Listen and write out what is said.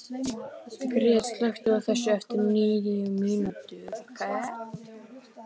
Gret, slökktu á þessu eftir níu mínútur.